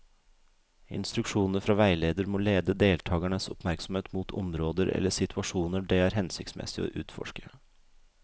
Instruksjonene fra veileder må lede deltakernes oppmerksomhet mot områder eller situasjoner det er hensiktsmessig å utforske.